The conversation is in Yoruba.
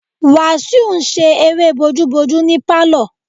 Wasiu n ṣe eré bojúbojú ní pálọ̀